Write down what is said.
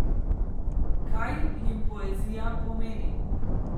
Kaj jim poezija pomeni?